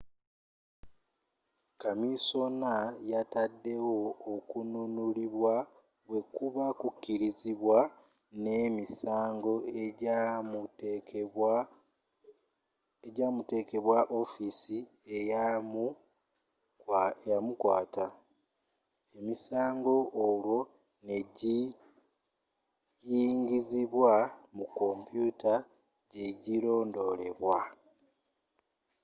kamisona yatadewo okununulibwa bwekuba kukirizidwa n'emisango ejamutekebwako ofiisa eyamukwata emisango olwo negiyingizibwa mu kompyuta jegulondoleerwa